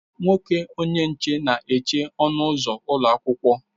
Nwoke onye nche na eche ọnụ ụzọ ụlọ akwụkwọ.